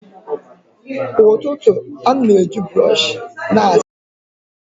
Kwa ụtụtụ, ana m eji brọsh na-asa ahịhịa.